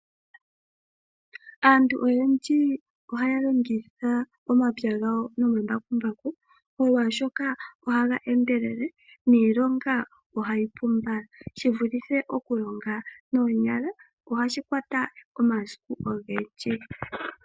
Aantu oyendji ohaya longitha omapya gawo nombakumbaku molwashika ohaga endelele niilonga ohayi pu mbala shivulithe okulonga noonyala ohashi kwata omasiku ogendji.